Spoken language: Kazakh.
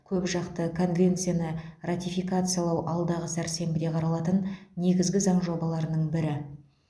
көпжақты конвенцияны ратификациялау алдағы сәрсенбіде қаралатын негізгі заң жобаларының бірі